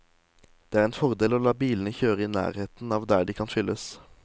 Det er en fordel å la bilene kjøre i nærheten av der de kan fylles.